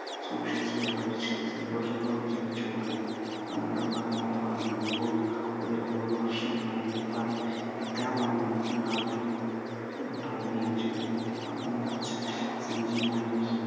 സൂക്ഷിച്ചു ചിലവഴിച്ചു സന്തോഷത്തോടെ ജീവിച്ചു കൊള്ളൂ. പറഞ്ഞു, ഹോ, ഒരു നൂറു വർഷം പണിയെടുത്താലും ഇത്ര പണം എനിക്കുണ്ടാകുമോ? ചെരുപ്പുകുത്തി പണം നിറച്ച സഞ്ചിയുമായി